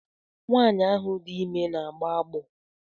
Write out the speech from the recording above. Nwaanyi ahụ dị ime ọ na-agbọ agbọ?